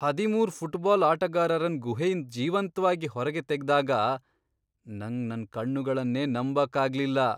ಹದಿಮೂರ್ ಫುಟ್ಬಾಲ್ ಆಟಗಾರರನ್ ಗುಹೆಯಿಂದ್ ಜೀವಂತ್ವಾಗಿ ಹೊರ್ಗೆ ತೆಗ್ದಾಗ ನಂಗ್ ನನ್ ಕಣ್ಣುಗಳನ್ನೇ ನಂಬಕ್ ಆಗ್ಲಿಲ್ಲ.